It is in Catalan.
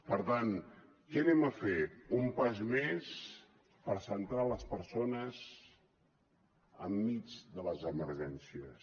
per tant què farem un pas més per centrar les persones enmig de les emergències